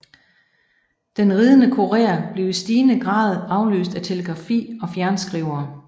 Den ridende kurér blev i stigende grad afløst af telegrafi og fjernskrivere